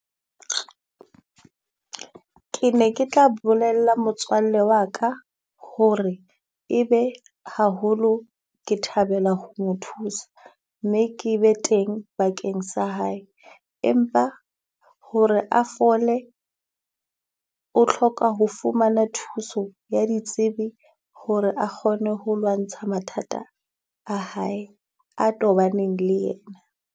Ke ne ke tla bolella motswalle wa ka ho re e be haholo ke thabela ho mo thusa, mme ke be teng bakeng sa hae. Empa ho re a fole, o hloka ho fumana thuso ya ditsebi ho re a kgone ho lwantsha mathata a hae a tobaneng le yena.